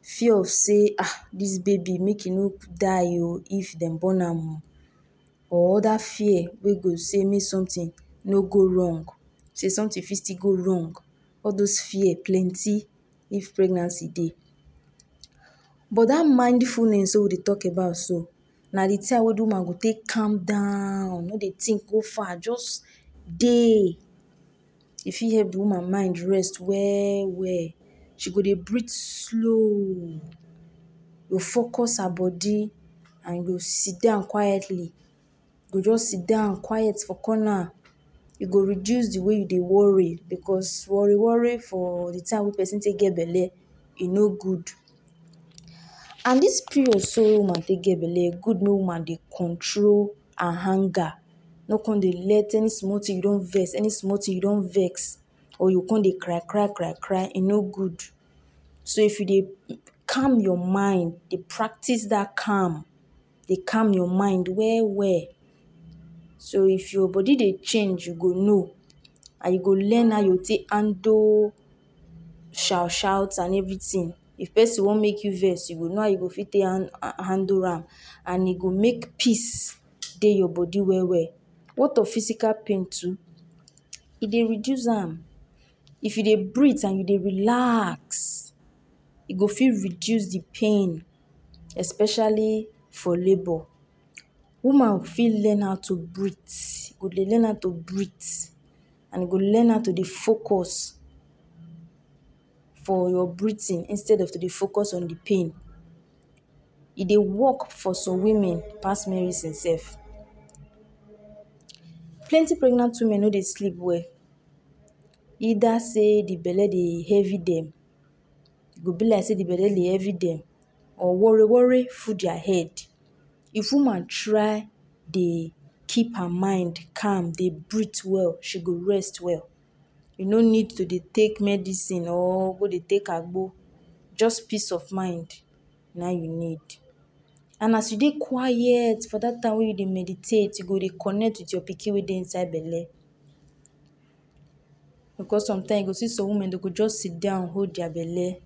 fear of sey um dis baby make e no die o if don born am, or dat fear wey go say may sometin no go wrong. Say sometin fit still go wrong all dos fear plenty if pregnancy dey. But da mindfulness wey we dey tok about so, na di time we woman go tek calm down no de tink go far jus dey. e fit hep de woman mind rest well-well, she go dey breathe slow, go focus her bodi and go sit down quietly, e go jus sit down quiet for corner, e go reduce de wey you de worry becos worry-worry for di time wey person get belle e no good. And dis period so woman wey get belle good woman de control her anger no come let any small tin you don vex any small tin you don vex or you come de cry-cry cry-cry e no good. So if you dey calm your mind dey practice dat calm, de calm your mind well-well so if your bodi dey change you go know and you go learn how you take handle shout shout and everytin. If pesin wan make you vex so you go now you go fit handle am and you go make peace dey your bodi well-well. Wat of physical pain too, e de reduce am if you de breathe and you dey relax, you go feel reduce di pain, especially for labor. Woman fit learn how to breath go learn how to breath, and go learn how to dey focus for your breathing instead of to de focus on di pain. E dey work for some women pass medicine sef. Plenty pregnant women no de sleep well, eda say de belle dey heavy dem, go be like sey de belle heavy or worry-worry full diya head. If woman try de keep her mind calm de breathe well she go rest well, e no need to de take medicine or go de take agbo just peace of mind na im you need. And as you de quiet for dat time wey you de meditate you de connect wit your pikin wey dey inside belle. Becos sometime you go see some women de go just sit down hold deya belle,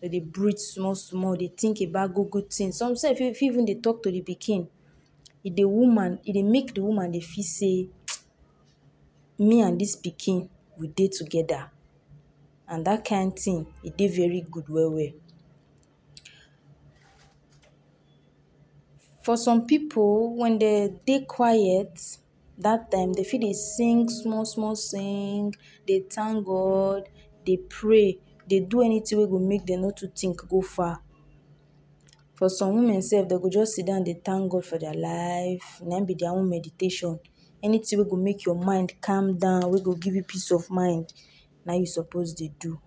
dey de breathe small small dey tink about good good tins, some sef even feel to tok to di pikin e de woman e dey make di woman fit say me and dis pikin we dey togeda, and dat kind tin e dey very good well-well. For some pipul wen de dey quiet dat dem de fit sing small small sing de tank god de pray de do anytin wey go make de no to tink go far. For some women sef de go just sit down dey tank God deya life, na im be deya own meditation. Anytin wey go make your mind calm down wey go give you peace of mind na you suppose de do.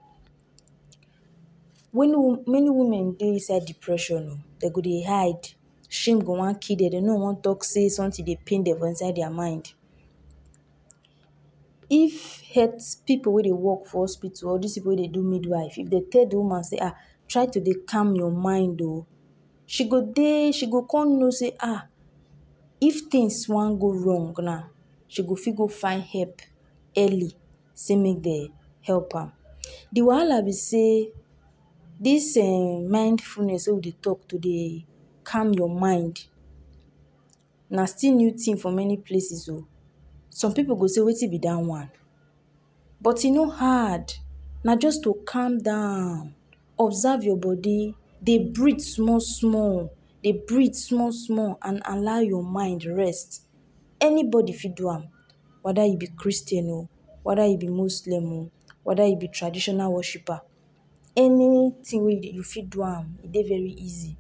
Many wo Many woman dey inside depression, dey go de hide, she am go wan kill dey no wan tok say sometin dey pain dem inside deya mind. If health pipu wey dey work for hospital or dis pipu wey dey do midwife, if dey tell the woman say[um] try to de calm your mind o. She go dey she go come no say um, if tins wan go wrong na she go feel go find hep early sey may dey help am. Di walaha be say dis um mindfulness wey we dey tok to day calm your mind na still new tin for many places o. Some pipul go say wetin be dat one? But it no hard na just to calm down observe your bodi de breathe small small, de breathe small small and allow your mind rest. Anybodi fit do am weda you bi Christian o, weda you bi Muslim o, weda you be traditional worshipper anytin wey you fit do am e de very easy.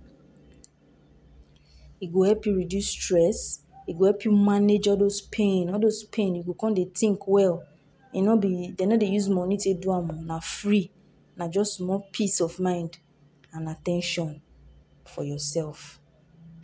E go help you reduce stress. E go help you manage all dos pain all dos pain you go come de tink well, e no be de no do use money for do am na free na just small peace of mind and at ten tion for yourself.